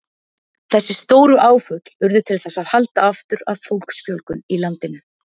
Þessi stóru áföll urðu til þess að halda aftur af fólksfjölgun í landinu.